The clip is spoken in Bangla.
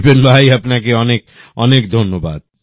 বিপিন ভাই আপনাকে অনেক ধন্যবাদ